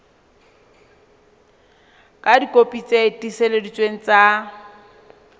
ka dikopi tse tiiseleditsweng tsa